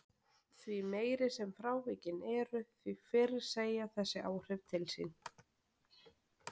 Því meiri sem frávikin eru því fyrr segja þessi áhrif til sín.